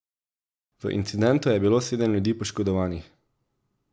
V incidentu je bilo sedem ljudi poškodovanih.